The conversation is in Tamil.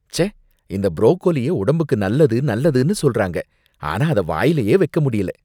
ச்சே! இந்த ப்ரோக்கோலிய உடம்புக்கு நல்லது நல்லதுனு சொல்றாங்க, ஆனா அத வாயிலயே வைக்க முடியல